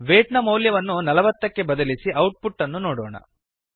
wait ನ ಮೌಲ್ಯವನ್ನು ೪೦ ಕ್ಕೆ ಬದಲಿಸಿ ಔಟ್ ಪುಟ್ ಅನ್ನು ನೋಡೋಣ